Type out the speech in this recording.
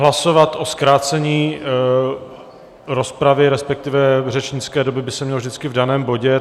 Hlasovat o zkrácení rozpravy, respektive řečnické doby, by se mělo vždycky v daném bodě.